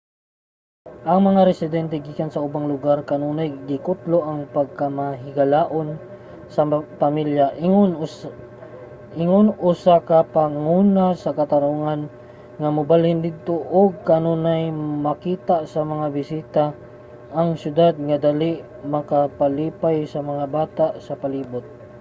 ang mga residente gikan sa ubang lugar kanunay gikutlo ang pagkamahigalaon sa pamilya ingon usa ka panguna nga katarungan nga mobalhin didto ug kanunay makita sa mga bisita ang syudad nga dali makapalipay sa mga bata sa palibot